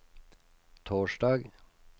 torsdag